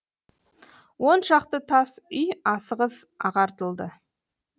он шақты тас үй асығыс ағартылды